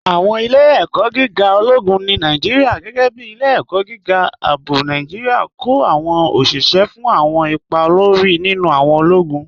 Awọn ilẹ̀-ẹ̀kọ̀ gígà ọlọ́gún ni Nàìjíríà, gẹgẹ́ bí Ilẹ̀-ẹ̀kọ̀ gígà Ààbọ̀ Nàìjíríà, kọ awọn oṣiṣẹ́ fún awọn ìpà òlórí nínu awọn ọlọ́gún.